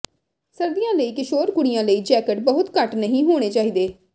ਸਰਦੀਆਂ ਲਈ ਕਿਸ਼ੋਰ ਕੁੜੀਆਂ ਲਈ ਜੈਕਟ ਬਹੁਤ ਘੱਟ ਨਹੀਂ ਹੋਣੇ ਚਾਹੀਦੇ